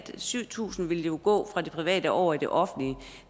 syv tusind ville gå fra det private over i det offentlige